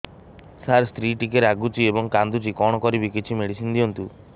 ସାର ସ୍ତ୍ରୀ ଟିକେ ରାଗୁଛି ଏବଂ କାନ୍ଦୁଛି କଣ କରିବି କିଛି ମେଡିସିନ ଦିଅନ୍ତୁ